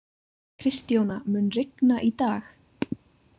Kristjóna, mun rigna í dag?